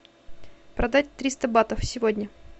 продать триста батов сегодня